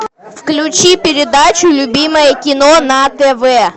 включи передачу любимое кино на тв